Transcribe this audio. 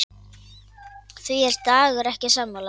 Því er Dagur ekki sammála.